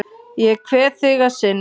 Ég kveð þig að sinni.